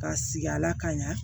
Ka sigi a la ka ɲa